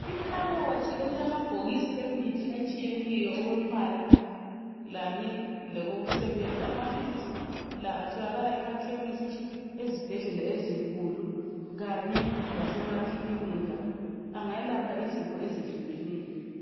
Ikhabothi elilamabhokisi emithi etshiyeneyo okwembala kanye lokokusebenza amaphilisi la atholakala emakhemisi ezibhedlela ezinkulu kanye lasemakilinika angayelapha izifo ezihlukeneyo.